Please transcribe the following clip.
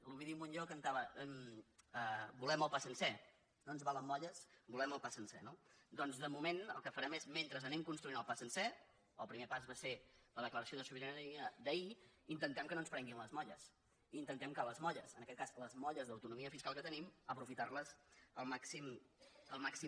l’ovidi montllor cantava volem el pa sencer no ens valen molles volem el pa sencer no doncs de moment el que farem és mentre anem construint el pa sencer el primer pas va ser la declaració de sobirania d’ahir intentar que no ens prenguin les molles intentar que les molles en aquest cas les molles d’autonomia fiscal que tenim les aprofitem al màxim